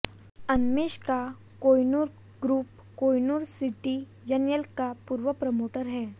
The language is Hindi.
अनमेश का कोहिनूर ग्रुप कोहिनूर सीटीएनएल का पूर्व प्रमोटर है